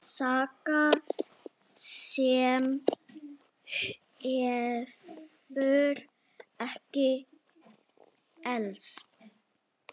Saga sem hefur ekki elst.